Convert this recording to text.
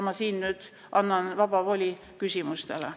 Ma annan nüüd vaba voli küsimuste esitamiseks.